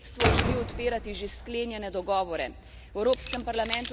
Avstrijsko predsedstvo želi odpirati že sklenjene dogovore.